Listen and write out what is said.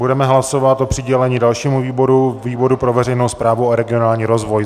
Budeme hlasovat o přidělení dalšímu výboru - výboru pro veřejnou správu a regionální rozvoj.